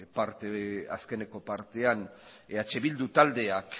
azkeneko partean eh bildu taldeak